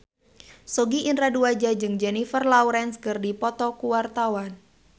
Sogi Indra Duaja jeung Jennifer Lawrence keur dipoto ku wartawan